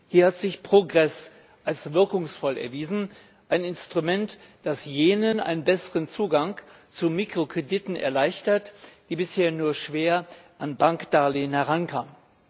Hier hat sich Progress als wirkungsvoll erwiesen, ein Instrument, das jenen einen besseren Zugang zu Mikrokrediten erleichtert, die bisher nur schwer an Bankdarlehen herankamen.